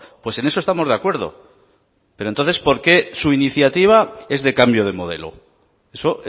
pues en eso estamos de acuerdo pero entonces por qué su iniciativa es de cambio de modelo eso